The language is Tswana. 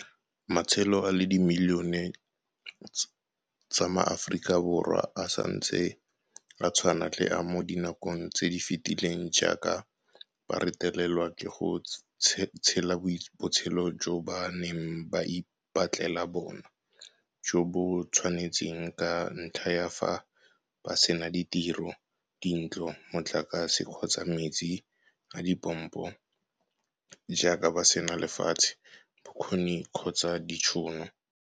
Matshelo a le dimilione tsa MaAforika Borwa a santse a tshwana le a mo nakong e e fetileng jaaka ba retelelwa ke go tshela botshelo jo ba neng ba ipatlela bona jo bo ba tshwanetseng ka ntlha ya fa ba sena ditiro, dintlo, motlakase kgotsa metsi a dipompo, jaaka ba sena lefatshe, bokgoni kgotsa ditšhono.